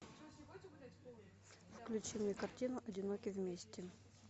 включи мне картину одиноки вместе